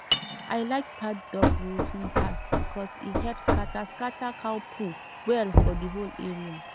i like paddock grazing pass because e help scatter scatter cow poo well for the whole area